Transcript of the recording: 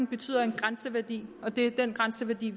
betyder en grænseværdi og det er den grænseværdi